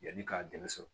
Yanni k'a dɛmɛ sɔrɔ